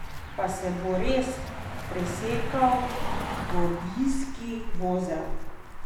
Pa se bo res presekal gordijski vozel?